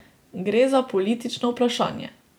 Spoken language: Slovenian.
Gre za politično vprašanje.